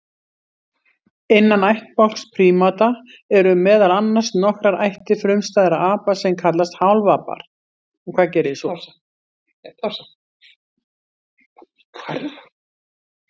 Innan ættbálks prímata eru meðal annars nokkrar ættir frumstæðra apa sem kallast hálfapar.